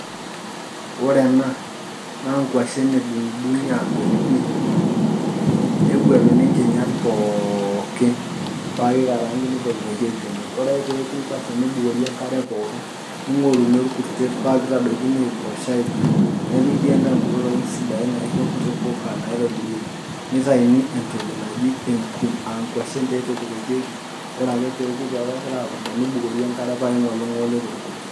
Ore ena naa nkuashan adung'idung'i aguet pii neguatuni kinyaat pookin paa keikarang'ani neitokitoke te motii. Ore ake pee ekuu nkuashan neibukorii nkaare pookin neing'orini elkurutiet paa keitodokii aiposha apiriij. Nepikii ndaa kutoo ntokii sidaii naijoo nkutoo mbukaa naitobirieki. Neitainii entokii najii enkuum aa nkuashan taa entokitekii ore pee ekuu paa kegira epurudaa neibukorii enkaree paa eing'olii te lkurrutiet.